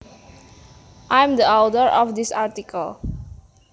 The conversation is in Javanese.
I am the author of this article